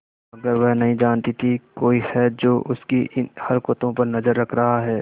मगर वह नहीं जानती थी कोई है जो उसकी इन हरकतों पर नजर रख रहा है